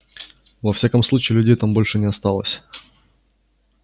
во всяком случае людей там больше не осталось